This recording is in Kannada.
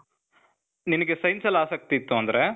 ನಿನಿಗೆ science ಅಲ್ ಆಸಕ್ತಿ ಇತ್ತು ಅಂದ್ರೆ,